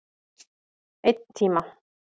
Einn tíma.